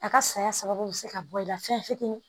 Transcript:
A ka saya sababu bɛ se ka bɔ i la fɛn fitinin